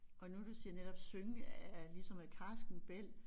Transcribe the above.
Og nu du siger netop synge af ligesom af karsken bælg